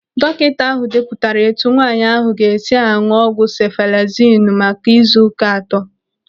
Dọkịta ahụ depụtara etu nwaanyị ahụ ga-esi aṅụ ọgwụ sefalezinu maka n'izu ụka atọ.